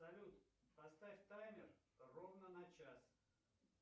салют поставь таймер ровно на час